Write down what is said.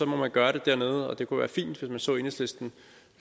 må man gøre det dernede og det kunne være fint hvis man så enhedslisten